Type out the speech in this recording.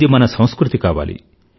ఇది మన సంస్కృతి కావాలి